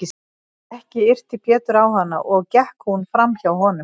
Ekki yrti Pétur á hana og gekk hún fram hjá honum.